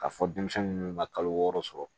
K'a fɔ denmisɛnnin ninnu ma kalo wɔɔrɔ sɔrɔ